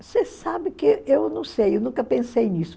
Você sabe que eu não sei, eu nunca pensei nisso.